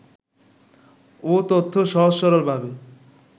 ও তথ্য সহজ-সরলভাবে